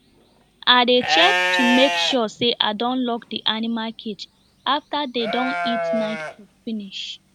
i dey check to make sure say i don lock the animals cage after dem don eat night food finish